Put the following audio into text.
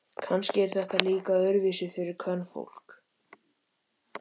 Kannski er þetta líka öðruvísi fyrir kvenfólk.